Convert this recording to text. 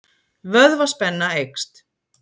Vöðvaspenna eykst.